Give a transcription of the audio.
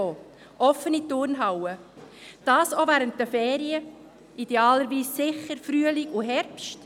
offene Turnhallen, auch während der Ferien, idealerweise sicher im Frühling und im Herbst.